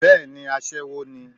Bẹ́ẹ̀ni aṣẹ́wó ni